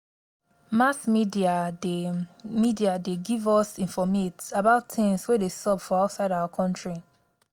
mass media dey media dey give us informate about things wey dey sup for outside our country